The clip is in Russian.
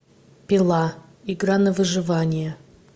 пила игра на выживание